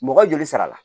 Mɔgɔ joli sara la